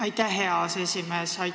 Aitäh, hea aseesimees!